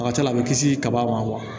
A ka ca la a be kisi kaba ma